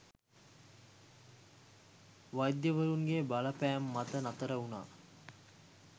වෛද්‍යවරුන්ගේ බලපෑම් මත නතර වුණා.